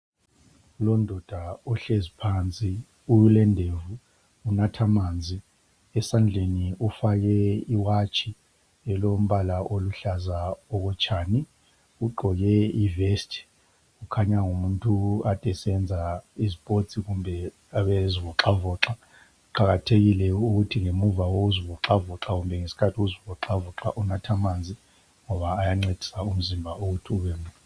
Lundoda uhlezi phansi ulendevu, unatha amanzi esandleni ufake iwatshi elombala oluhlaza okotshani, ugqoke ivest kukhanya ngumuntu okade esenza isizipotsi kumbe okade ezivoxavoxa. Kuqakathekile ukuthi ngemva kokuzivoxavoxa kumbe ngesikhathi uzivoxavoxa ngoba ayancedisa emzimbeni.